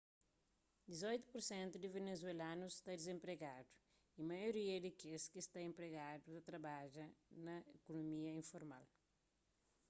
dizoitu pur sentu di venezuelanus sta dizenpregadu y maioria di kes ki sta enpregadu ta trabadja na ikunomia informal